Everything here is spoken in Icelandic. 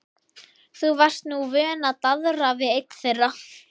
Þú varst nú vön að daðra við einn þeirra.